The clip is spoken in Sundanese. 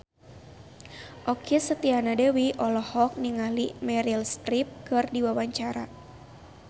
Okky Setiana Dewi olohok ningali Meryl Streep keur diwawancara